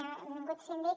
benvingut síndic